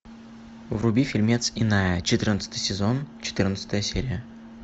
вруби фильмец иная четырнадцатый сезон четырнадцатая серия